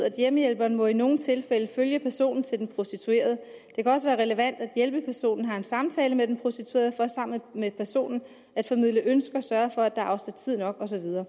hjemmehjælperen må i nogle tilfælde følge personen til den prostituerede det kan også være relevant at hjælpepersonen har en samtale med den prostituerede for sammen med personen at formidle ønsker sørge for at der er afsat tid nok og så videre